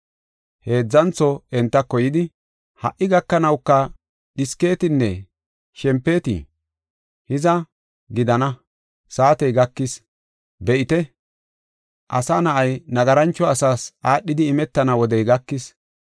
Heedzantho entako yidi, “Ha77i gakanawuka dhisketinne shempetii? Hiza, gidana; saatey gakis; be7ite! Asa Na7ay, nagarancho asaas aadhidi imetana wodey gakis.